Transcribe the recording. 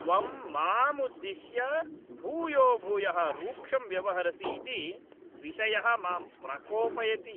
त्वं माम् उद्दिश्य भूयोभूयः रूक्षं व्यवहरसि इति विषयः मां प्रकोपयति।